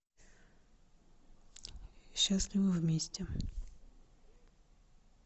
счастливы вместе